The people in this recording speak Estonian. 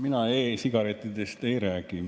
Mina e-sigarettidest ei räägi.